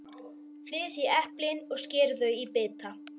Flysjið eplin og skerið þau í bita.